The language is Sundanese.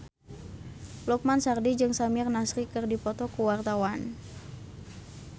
Lukman Sardi jeung Samir Nasri keur dipoto ku wartawan